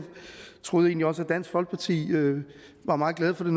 troede egentlig også at dansk folkeparti var meget glade for det